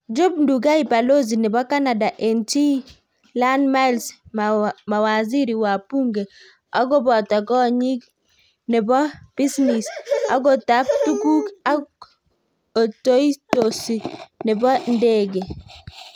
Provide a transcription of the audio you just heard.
Job Ndugai, Balozi nebo Canada en chi Ian Myles, Mawaziri, Wabunge, Agotap konyik nebo bisnis, Ogotap tuguk, ak otoitosi nebo ndege.